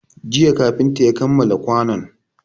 Jiya kafinta ya kammala kwanon